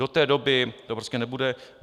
Do té doby to prostě nebude.